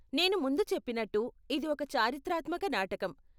నేను ముందు చెప్పినట్టు, ఇది ఒక చారిత్రాత్మక నాటకం .